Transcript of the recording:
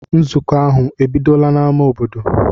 Nzukọ ahụ ebidola n'ámá obodo?